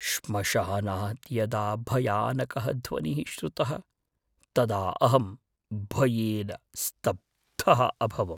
श्मशानात् यदा भयानकः ध्वनिः श्रुतः तदा अहम् भयेन स्तब्धः अभवम्।